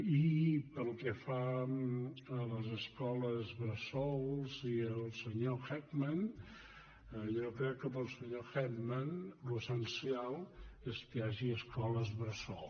i pel que fa a les escoles bressol i al senyor heckman jo crec que pel senyor heckman l’essencial és que hi hagi escoles bressol